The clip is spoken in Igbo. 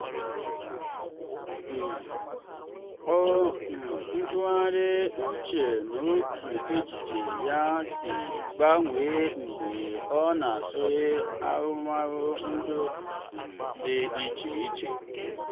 um ọ um tụgharịrị uche n'otú echiche ya si gbanwee mgbe ọ nụsịrị ahụmahụ ndụ um dị iche iche.